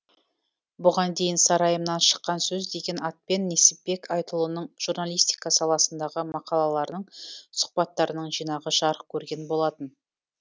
бұған дейін сарайымнан шыққан сөз деген атпен несіпбек айтұлының журналистика саласындағы мақалаларының сұхбаттарының жинағы жарық көрген болатын